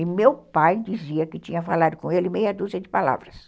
E meu pai dizia que tinha falado com ele meia dúzia de palavras.